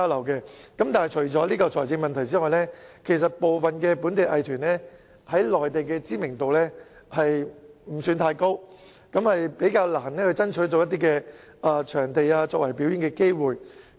可是，除了財政問題外，部分本地藝團在內地的知名度不高，較難爭取到表演機會。